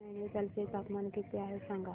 आज नैनीताल चे तापमान किती आहे सांगा